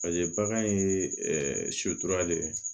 bagan ye sotura le ye